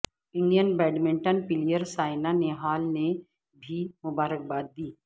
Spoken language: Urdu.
Indian badminton player Saina Nehwal نے بھی مبارکباد دی